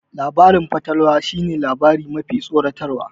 Labarin fatalwa shi ne labari mafi tsoratarwa